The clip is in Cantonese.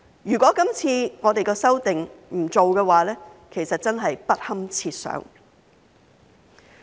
如果我們今次不作出修訂，其實真是不堪設想。